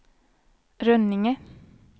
Rönninge